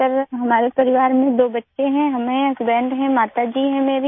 sir हमारे परिवार में दो बच्चे हैं हम हैं हसबैंड हैं माता जी हैं मेरी